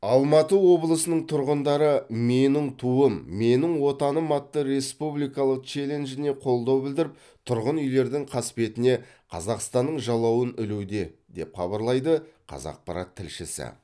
алматы облысының тұрғындары менің туым менің отаным атты республикалық челленджіне қолдау білдіріп тұрғын үйлердің қасбетіне қазақстанның жалауын ілуде деп хабарлайды қазақпарат тілшісі